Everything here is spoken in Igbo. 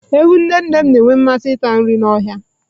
Ewu nne nne m na-enwe mmasị ịta nri n'ọhịa.